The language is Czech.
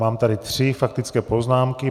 Mám tady tři faktické poznámky.